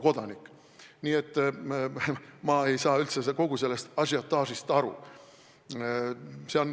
Nii et ma ei saa üldse kogu sellest ažiotaažist aru.